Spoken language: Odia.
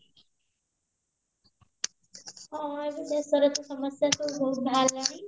ହଁ ଏବେ ଦେଶର ତ ସମସ୍ତେ ସବୁ ବାହାରିଲାଣି